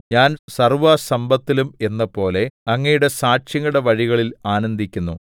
ഞാൻ സർവ്വസമ്പത്തിലും എന്നപോലെ അങ്ങയുടെ സാക്ഷ്യങ്ങളുടെ വഴിയിൽ ആനന്ദിക്കുന്നു